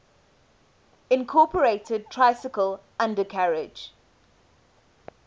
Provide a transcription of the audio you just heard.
incorporated tricycle undercarriage